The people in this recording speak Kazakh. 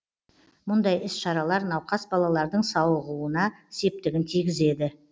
мұндай іс шаралар науқас балалардың сауығуына септігін тигізеді